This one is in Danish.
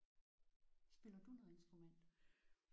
Spiller du noget instrument?